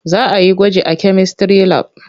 Za a yi gwaji a kemistry lab.